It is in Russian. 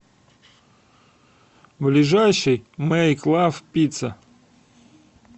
ближайший мэйк лав пицца